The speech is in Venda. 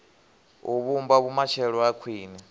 u vhumba vhumatshelo ha khwine